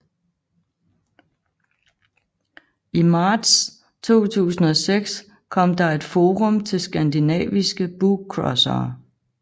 I marts 2006 kom der et forum til skandinaviske bookcrossere